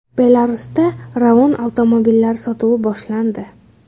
Belarusda Ravon avtomobillari sotuvi boshlandi.